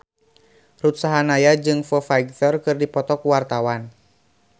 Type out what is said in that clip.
Ruth Sahanaya jeung Foo Fighter keur dipoto ku wartawan